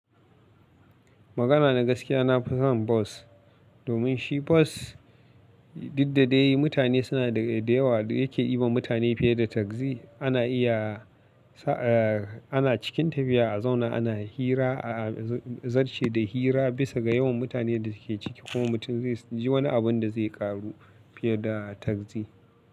Magana na gaskiya, na fi son bas domin shi bas diddade yi, mutane suna da yawa yake yiwa mutane fiye da taksi. Ana iya, ana cikin tafiya a zauna ana hira, zarce da hira bisa ga yawan mutanen da ke ciki. Kuma mutum zai ji wani abin da zai ƙaru fiye da taksi.